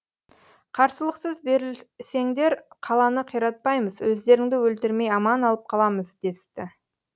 қарсылықсыз берілсеңдер қаланы қиратпаймыз өздеріңді өлтірмей аман алып қаламыз десті